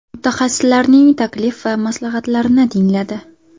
Mutaxassislarning taklif va maslahatlarini tingladi.